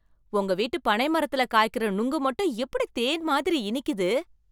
உங்க வீட்டு பனை மரத்துல காய்க்கற நொங்கு மட்டும் எப்படி தேன் மாதிரி இனிக்குது!